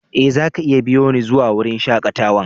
Eh, za ka iya biyo ni zuwa wurin shakatawan.